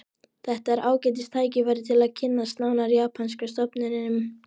Þetta er ágætis tækifæri til að kynnast nánar japanska stofninum